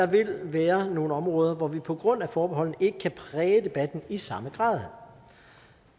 vil være nogle områder hvor vi på grund af forbeholdet ikke kan præge debatten i samme grad